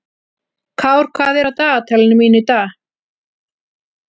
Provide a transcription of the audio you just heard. Kár, hvað er á dagatalinu mínu í dag?